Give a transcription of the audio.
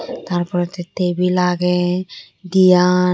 Tar poredi tible agey diyan.